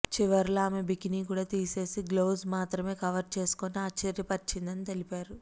చివర్లో ఆమె బికినీ కూడా తీసేసి గ్లోవ్స్ మాత్రమే కవర్ చేసుకుని ఆశ్చర్యపరిచిందని తెలిపారు